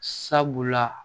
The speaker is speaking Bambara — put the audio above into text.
Sabula